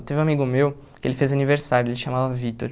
Teve um amigo meu, que ele fez aniversário, ele chamava Vitor.